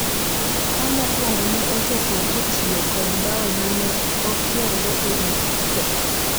ka mokwongo ne ochopo kotiyo kod bao mane okiergo e wi pee